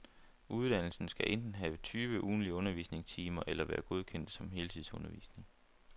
Uddannelsen skal enten have tyve ugentlige undervisningstimer eller være godkendt som heltidsundervisning.